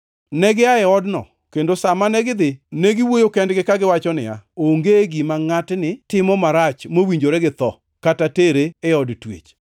Negia e odno, kendo sa mane gidhi negiwuoyo kendgi kagiwacho niya, “Onge gima ngʼatni timo marach mowinjore gi tho kata tere e od twech.”